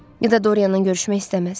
Ya da Dorianla görüşmək istəməz.